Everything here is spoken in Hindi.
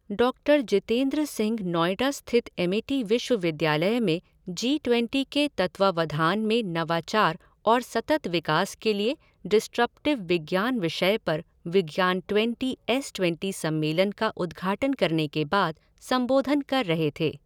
डॉक्टर जितेन्द्र सिंह नोएडा स्थित एमिटी विश्वविद्यालय में जी ट्वेंटी के तत्वावधान में नवाचार और सतत विकास के लिए डिस्रप्टिव विज्ञान विषय पर विज्ञान ट्वेंटी एस ट्वेंटी सम्मेलन का उद्घाटन करने के बाद संबोधन कर रहे थे।